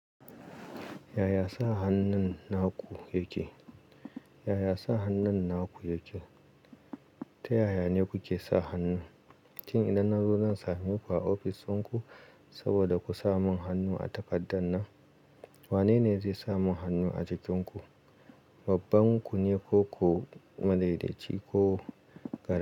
Yaya sa hannun naku yake? Yaya sa hannun naku yake? Ta yaya ne kuke sa hannu? Shin idan na zo zan same ku a ofis inku saboda ku sa mun hannu a takaddan nan. Wanene zai samun hannu a cikinku? Babbanku ne ko ku, madaidaici ko gari?